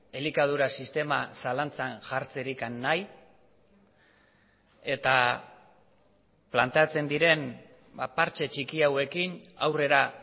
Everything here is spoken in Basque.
elikadura sistema zalantzan jartzerik nahi eta planteatzen diren partxe txiki hauekin aurrera